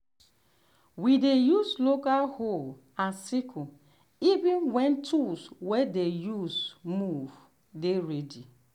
we dey use local hoe and sickle even when tools way dey move dey ready.